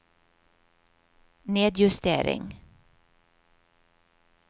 nedjustering